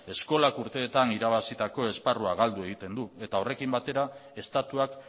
eskolak urteetan irabazitako esparrua galdu egiten du eta horrekin batera estatuak